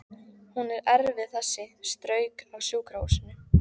Hún er erfið þessi, strauk af sjúkrahúsinu